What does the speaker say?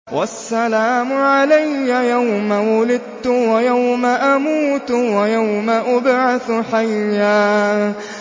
وَالسَّلَامُ عَلَيَّ يَوْمَ وُلِدتُّ وَيَوْمَ أَمُوتُ وَيَوْمَ أُبْعَثُ حَيًّا